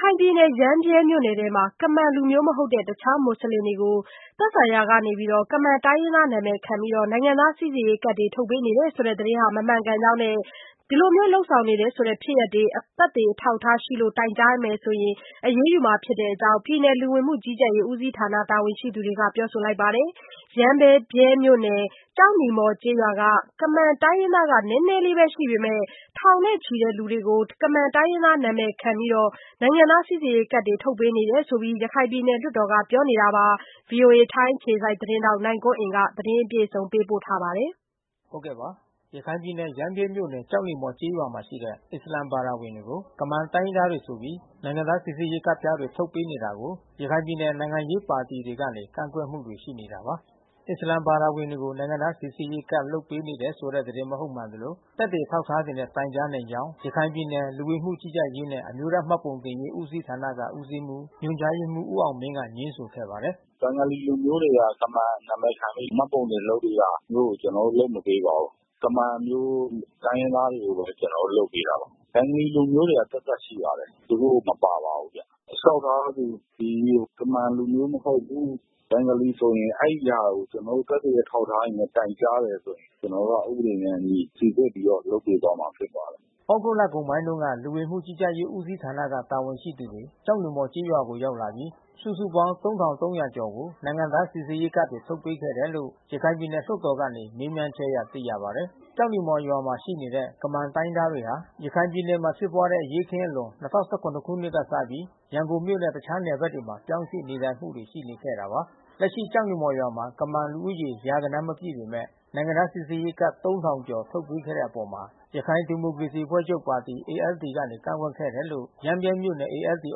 ခိုင်ပြည်နယ် ရမ်းဗြဲမြို့နယ်မှာ ကမန်လူမျိုးမဟုတ်တဲ့ တခြားမူဆလင်တွေကို သက်ဆိုင်ရာက ကမန် တိုင်းရင်းသားနာမည်ခံပြီး နိုင်ငံသားစီစစ်ရေးကဒ်တွေ ထုတ်ပေးနေတယ်ဆိုတဲ့သတင်းတွေဟာ မမှန်ကန် ကြောင်းနဲ့ ဒီလို လုပ်ဆောင်တယ်ဆိုတဲ့ ဖြစ်ရပ်တွေကို သက်သေအထောက်အထားရှိလို့ တိုင်ကြားနိုင်ရင် အရေးယူမှာဖြစ်ကြောင်း ပြည်နယ် လူဝင်မှုကြီးကြပ်ရေးဦးစီးဌာနတာဝန်ရှိသူတွေက ပြောပါတယ်။ ရမ်းဗြဲမြို့နယ်၊ ကျောက်နီမော်ကျေးရွာမှာ ကမန်တိုင်းရင်းသား နည်းနည်းပဲရှိပေမယ့် ထောင်နဲ့ချီလူတွေကို ကမန်တိုင်းရင်းသား နာမည်ခံပြီး နိုင်ငံသားစီစစ်ရေးကဒ်တွေ ထုတ်ပေးနေတယ်လို့ ရခိုင်ပြည်နယ် လွှတ်တော်က ပြောနေတာပါ။ VOA ထိုင်းအခြေစိုက်သတင်းထောက် နိုင်ကွန်းအိန် သတင်းပေးပို့ထားပါတယ်။ ရခိုင်ပြည်နယ် ရမ်းဗြဲမြို့နယ် ၊ ကျောက်နီမော်ကျေးရွာမှာရှိတဲ့ အစ္စလာမ် ဘာသာဝင်တွေကို ဆိုပြီး နိုင်ငံသားစိစစ်ရေးကဒ်ပြားများ ထုတ်ပေးနေတာကို ရခိုင်ပြည်နယ်နိုင်ငံရေးပါတီတွေကနေ ကန့် ကွက်မှု တွေရှိနေတာပါ။ အစ္စလာမ်ဘာသာဝင်တွေကို နိုင်ငံသားစိစစ်ရေးကဒ်လုပ်ပေးတယ်ဆိုတဲ့သတင်းမဟုတ်မှန်သလို သက်သေ အထောက်အထားတွေနဲ့တိုင်ကြားနိုင်ကြောင်း ရခိုင်ပြည်နယ်လူဝင်မှုကြီးကြပ်ရေးနဲ့ အမျိုးသားမှတ်ပုံတင်ရေး ဦးစီးဌာနဦးစီးမှူး ညွှန်ကြားရေးမှူး- ဦးအောင်မင်းက ငြင်းဆိုပါတယ်။ “ဘင်္ဂလီလူမျိုးတွေဟာ ကမန်နံမည်ခံပြီး မှတ်ပုံတင်လုပ်နေတာမျိုးကို ကျနော်တို့လုပ်မပေးပါဘူး။ ကမန်မျိုး တိုင်းရင်းသားတွေကိုပဲ ကျနော်တို့လုပ်ပေးတာပါ။ ဘင်္ဂလီလူမျိုးတွေက သပ်သပ် ရှိပါတယ်။ သူတို့မပါပါဘူးဗျ။ လျှောက်ထားသူသည် ကမန်လူမျိုးမဟုတ်ဘူး။ ဘင်္ဂလီဆိုရင် အဲဒီဟာကို သက်သေ အထောက်အထား တွေနဲ့ တိုင်ကြားတယ်ဆိုရင် ကျနော်တို့က ဥပဒေနဲ့အညီ စိစစ်ပြီးတော့လုပ်ပေးသွားမှာဖြစ်ပါတယ်။” သြဂုတ်လကုန်ပိုင်းတုန်းက လူဝင်မှုကြီးကြပ်ရေးဦးစီးဌာနကတာဝန်ရှိသူတွေ ကျောက်နီမော်ကျေးရွာကို ရောက် လာပြီး စုစုပေါင်း ၃,၃၀၀ ကျော်ကို နိုင်ငံသား စိစစ်ရေးကဒ်တွေထုတ်ပေးခဲ့တယ်လို့ ရခိုင်ပြည်နယ်လွှတ်တော် က မေးမြန်းချက်အရ သိရပါတယ်။ ကျောက်နီမော်ရွာထဲမှာနေထိုင်တဲ့ကမန်တိုင်းရင်းသားဟာ ရခိုင်ပြည်နယ်မှာဖြစ်ပွါးတဲ့အရေးအခင်းအလွန် ၂၀၁၇ ခုနှစ်ကစပြီး ရန်ကုန်မြို့နဲ့တခြားနယ်ဘက်တွေမှပြောင်းရွှေ့နေထိုင်လာခဲ့တာပါ။ လက်ရှိကျောက်နီမော်ရွာမှာ ကမန်လူဦးရေ ရာဂဏန်းမပြည့်ပေမဲ့ နိုင်ငံသားစီစစ်ရေးကဒ် ကျော် ထုတ်ပေးတဲ့အပေါ် ရခိုင်ဒီမိုကရေစီအဖွဲ့ချုပ်ပါတီ ကနေ ကန့်ကွက်ခဲ့တယ်လို့ ရမ်းဗြဲမြို့နယ် ALD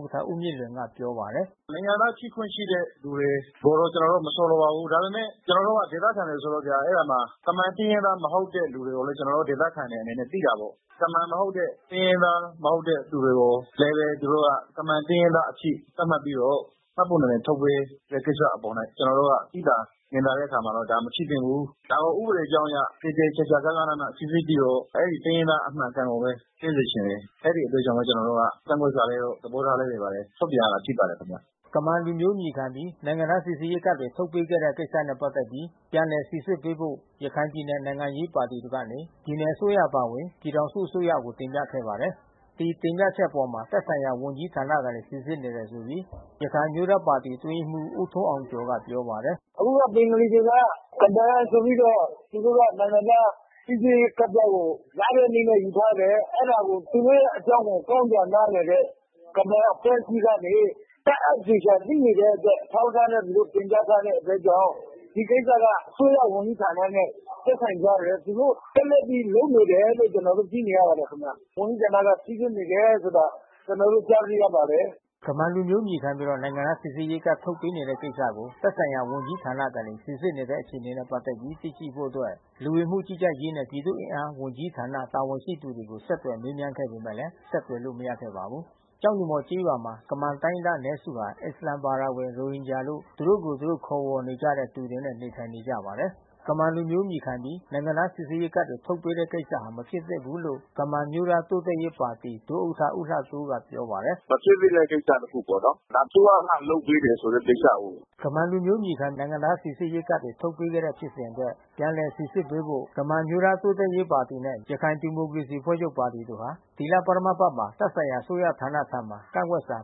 ဥက္ကဋ္ဌ ဦးမြင့်လွင်က ပြောပါတယ်။ “နိုင်ငံသားဖြစ်ခွင့်ရှိတဲ့သူတွေကိုတော့ ကျနော်တို့မဆိုလိုပါဘူး။ ဒါပေမဲ့ ကျနော်တို့က ဒေသခံတွေဆိုတော့ဗျာ အဲဒီမှာ ကမန်တိုင်းရင်းသားမဟုတ်တဲ့သူတွေကိုလည်း ကျနော်တို့ဒေသခံတွေအနေနဲ့ သိပါတယ်။ ကမန် မဟုတ်တဲ့၊ တိုင်းရင်းသားမဟုတ်တဲ့ သူတွေကို၊ လိမ်လည်သူတွေကို သူတို့က ကမန်တိုင်းရင်းသားအဖြစ် သတ်မှတ်ပြီးတော့ မှတ်ပုံတင်ထုတ်ပေးတဲ့ကိစ္စအပေါ် ကျနော်တို့က သိသာမြင်သာတဲ့အပေါ်မှာ ဒါ မဖြစ်သင့် ဘူး။ ဒါကို ဥပဒေကြောင်းအရ သေသေချာချာဂဃနဏ စိစစ်ကြည့်ဦး။ အဲဒီတိုင်းရင်းသား အမှန်အကန်ကိုပဲ ဖြစ်စေချင်တယ်။ အဲဒီကြောင့်ပဲ ကျနော်တို့က ကန့်ကွက်စာတွေ သဘောထားလေးတွေ ထုတ်ပြန်ရတာ ဖြစ်ပါတယ်။” ကမန်လူမျိုးအမည်ခံပြီး နိုင်ငံသား စိစစ်ရေးကဒ်တွေထုတ်ပေးခဲ့တဲ့ကိစ္စနဲ့ပက်သက်ပြီး ပြန်လည်စိစစ်ပေးဖို့ ရခိုင် ပြည်နယ်နိုင်ငံရေးပါတီတွေကနေ ပြည်နယ်အစိုးရအပါအဝင် ပြည်ထောင်စုအစိုးရကိုတင်ပြခဲ့ပါတယ်။ ဒီတင်ပြချက်အပေါ်သက်ဆိုင်ရာဝန်ကြီးဌာနကနေစိစစ်နေတယ်ဆိုပြီး ရခိုင်အမျိုးသားပါတီအတွင်းရေးမှူး ဦးထွန်းအောင်ကျော်က ပြောပါတယ်။ “အခုဘင်္ဂလီတွေက ကမန်ဆိုပြီးတော့ သူတို့ကနိုင်ငံသားစီစစ်ရေးကဒ်ပြားကို ရတဲ့နည်းနဲ့ယူထားတယ်။ အဲဒါကို သူတို့ရဲ့အကြောင်းကို ကောင်းစွာနားလည်တဲ့ ကမန်အဖွဲ့အစည်းကနေ တပ်အပ် သေချာသိနေတဲ့ အတွက် အထောက်အထားနဲ့တင်ပြထားတဲ့အတွက်ကြောင့် ဒီကိစ္စကအစိုးရဝန်ကြီးဌာနနဲ့သက်ဆိုင်ကြတယ်။ သူတို့ဆက်လက်ပြီး လုပ်နေကြတယ်လို့ ကျနော်တို့သိနေရပါတယ်ခင်ဗျ။ ဝန်ကြီးဌာနက စိစစ်နေတယ်ဆိုတာ ကျနော်တို့ ကြား သိရပါတယ်။” ကမန်လူမျိုးအမည်ခံပြီး နိုင်ငံသား စိစစ်ရေးကဒ်တွေ ထုတ်ပေးခဲ့တဲ့ကိစ္စကို သက်ဆိုင်ရာဝန်ကြီးဌာနကနေ စိစစ်နေတဲ့အခြေအနေနဲ့ပက်သက်ပြီးသိရှိဖို့ လူဝင်မှုကြီးကြပ်ရေးနှင့် ပြည်သူ့အင်အားဝန်ကြီးဌာန တာဝန် ရှိသူတွေကို ဆက်သွယ်မေးမြန်းခဲ့ပေမဲ့ ဆက်သွယ်လို့မရခဲ့ပါဘူး။ ကျောက်နီမော်ကျေးရွာမှာ ကမန်တိုင်းရင်းသားအနည်းစုဟာ အစ္စလာမ်ဘာသာဝင် ရိုဟင်ဂျာလို့ သူတို့ကိုယ်ကို သူတို့ခေါ်ဝေါ်နေတဲ့သူတွေနေထိုင်နေကြပါတယ်။ ကမန်လူမျိုးအမည်ခံပြီး နိုင်ငံသား စိစစ်ရေးကဒ်တွေထုတ်ပေးခဲ့တဲ့ကိစ္စဟာ မဖြစ်သင့်ဘူးလို့ ကမန် အမျိုးသားတိုး တက်ရေးပါတီ ဒုဥက္ကဋ္ဌ ဦးလှတိုးက ပြောပါတယ်။ “မဖြစ်သင့်တဲ့ကိစ္စတခုပေါ့နော်။ ဒါအစိုးရကလုပ်ပေးတယ်ဆိုတဲ့ကိစ္စကိုး။” ကမန်လူမျိုးအမည်ခံ နိုင်ငံသား စိစစ်ရေးကဒ်တွေထုတ်ပေးခဲ့တဲ့ဖြစ်စဉ်အတွက် ပြန်လည်စိစစ်ပေးဖို့ ကမန်အမျိုးသား တိုးတက်ရေးပါတီနဲ့ ရခိုင်ဒီမိုကရေစီအဖွဲ့ချုပ်ပါတီတို့က ဒီလပထမအပတ်မှာ သက်ဆိုင်ရာ အစိုးရဌာနထံ ကန့်ကွက်စာ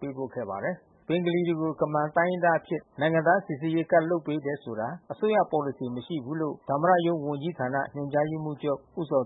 ပေးပို့ခဲ့ပါတယ်။ ဘင်္ဂလီတွေကို ကမန်တိုင်းရင်းသားတွေအဖြစ် နိုင်ငံသားစီစစ်ရေး ကဒ်လုပ်ပေးတယ်ဆိုတာ အစိုးရပေါ်လစီမရှိ ဘူးလို့ သမ္မတရုံးဝန်ကြီးဌာန ညွှန်ကြားရေးမှူးချုပ် ဦးဇော်